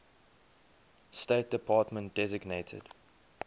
state department designated